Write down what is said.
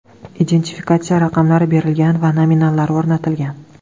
Identifikatsiya raqamlari berilgan va nominallar o‘rnatilgan.